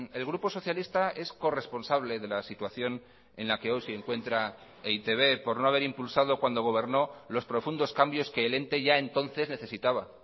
el grupo socialista es corresponsable de la situación en la que hoy se encuentra e i te be por no haber impulsado cuando gobernó los profundos cambios que el ente ya entonces necesitaba